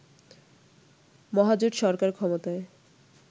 মহাজোট সরকার ক্ষমতায়